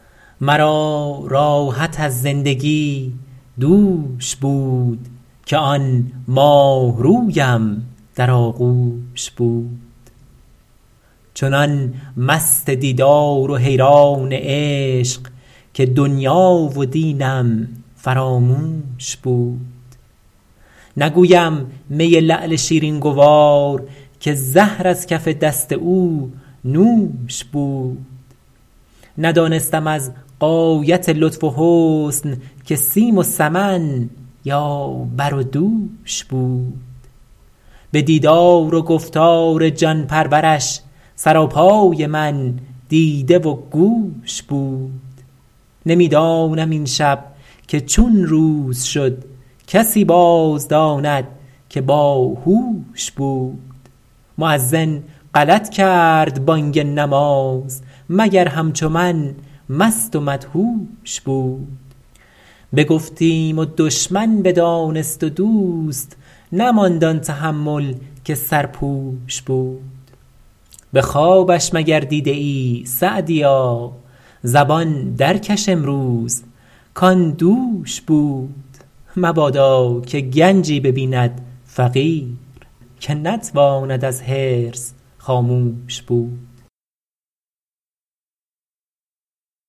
مرا راحت از زندگی دوش بود که آن ماهرویم در آغوش بود چنان مست دیدار و حیران عشق که دنیا و دینم فراموش بود نگویم می لعل شیرین گوار که زهر از کف دست او نوش بود ندانستم از غایت لطف و حسن که سیم و سمن یا بر و دوش بود به دیدار و گفتار جان پرورش سراپای من دیده و گوش بود نمی دانم این شب که چون روز شد کسی باز داند که با هوش بود مؤذن غلط کرد بانگ نماز مگر همچو من مست و مدهوش بود بگفتیم و دشمن بدانست و دوست نماند آن تحمل که سرپوش بود به خوابش مگر دیده ای سعدیا زبان در کش امروز کآن دوش بود مبادا که گنجی ببیند فقیر که نتواند از حرص خاموش بود